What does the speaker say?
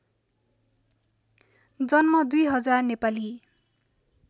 जन्म २००० नेपाली